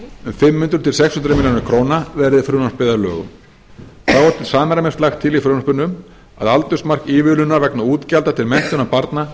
um fimm hundruð til sex hundruð milljóna króna verði frumvarpið að lögum þá er til samræmis lagt til í frumvarpinu að aldursmark ívilnunar vegna útgjalda til menntunar barna